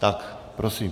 Tak prosím.